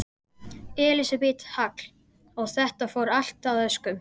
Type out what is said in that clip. Elísabet Hall: Og þetta fór allt að óskum?